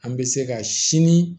An bɛ se ka sini